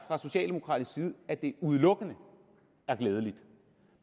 at det udelukkende er glædeligt